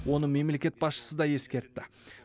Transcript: оны мемлекет басшысы да ескертті